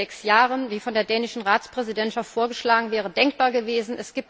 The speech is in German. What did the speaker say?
fünf oder sechs Jahre wie von der dänischen Ratspräsidentschaft vorgeschlagen wäre denkbar gewesen.